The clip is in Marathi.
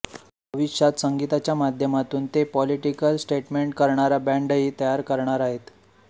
भविष्यात संगीताच्या माध्यमातून ते पॉलिटिकल स्टेटमेंट करणारा बँडही तयार करणार आहेत